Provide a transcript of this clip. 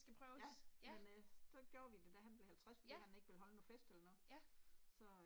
Ja, men øh, så gjorde vi det da han blev 50 fordi han ikke ville holde noget fest eller noget så